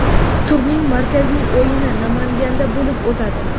Turning markaziy o‘yini Namanganda bo‘lib o‘tadi.